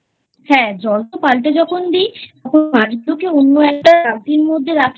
হ্যাঁ জল তো পাল্টে যখন দি তখন মাছগুলোকে অন্য একটা বালতির মধ্যে রাখি